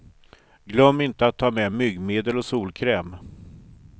Glöm inte att ta med myggmedel och solkräm.